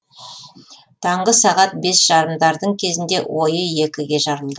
таңғы сағат бес жарымдардың кезінде ойы екіге жарылды